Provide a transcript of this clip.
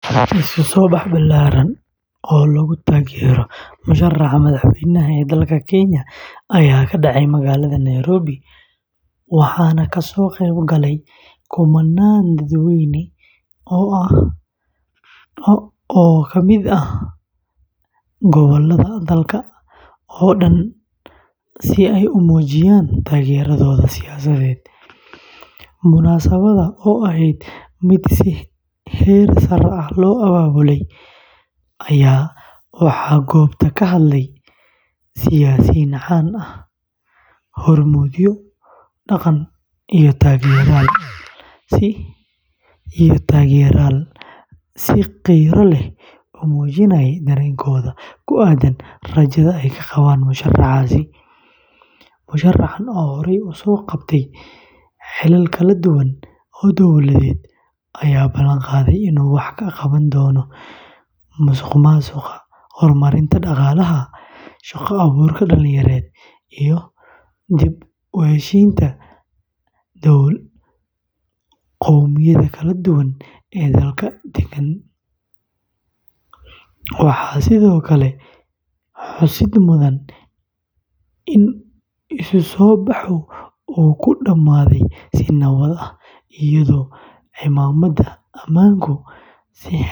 Isu soo bax ballaaran oo lagu taageerayo musharraxa madaxweyne ee dalka Kenya ayaa ka dhacay magaalada nairobi , waxaana ka soo qayb galay kumannaan dadweyne ah oo ka kala yimid gobollada dalka oo dhan si ay u muujiyaan taageeradooda siyaasadeed. Munaasabadda oo ahayd mid si heer sare ah loo abaabulay, ayaa waxaa goobta ka hadlay siyaasiyiin caan ah, hormuudyo dhaqan iyo taageerayaal si qiiro leh u muujinayay dareenkooda ku aaddan rajada ay ka qabaan musharraxaasi. Musharraxan oo horey u soo qabtay xilal kala duwan oo dawladeed, ayaa ballanqaaday inuu wax ka qaban doono musuqmaasuqa, horumarinta dhaqaalaha, shaqo-abuurka dhalinyarada iyo dib u heshiisiinta qowmiyadaha kala duwan ee dalka dega. Waxaa sidoo kale xusid mudan in isu soo baxu uu ku dhammaaday si nabad ah, iyadoo ciidamada ammaanku.